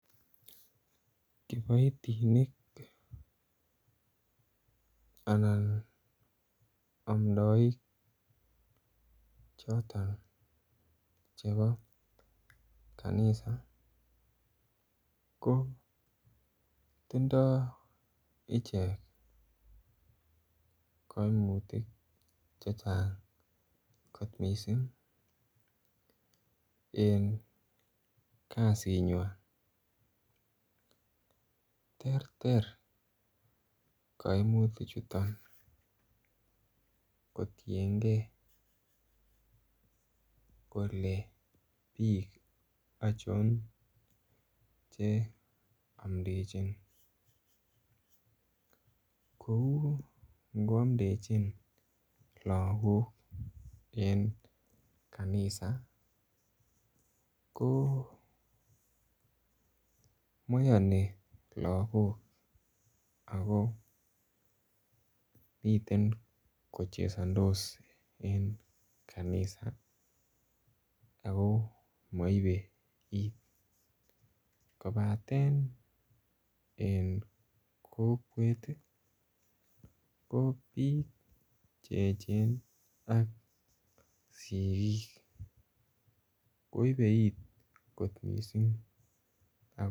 Kiboitinik anan amdoik choton chebo kanisa ko tindoo icheket kaimutik chechang kot missing en kasiit nyuan. Terter kaimutik chuton kotienge kole bik achon che amtechin kouu ingoamtechin lakok en kanisa komaiyani lakok ago miten kochesantos en kanisa Ako maiwek, kobaten en kokwet ih ko bik checheng ak sikik koyebe iit kot missing.